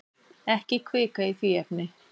Ekki hvika í því efni.